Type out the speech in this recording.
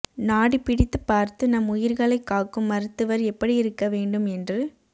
நாடி பிடித்துப் பாா்த்து நம் உயிா்களைக் காக்கும் மருத்துவா் எப்படியிருக்க வேண்டும் என்று